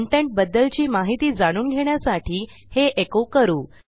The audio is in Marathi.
कंटेंट बद्दलची माहिती जाणून घेण्यासाठी हे एको करू